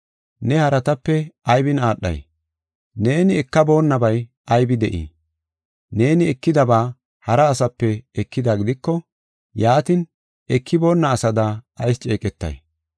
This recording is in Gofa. Ne haratape aybin aadhay? Neeni ekaboonabay aybi de7ii? Neeni ekidaba hara asape ekida gidiko, yaatin, ekiboonna asada ayis ceeqetay?